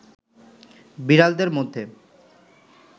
বিড়ালদের মধ্যে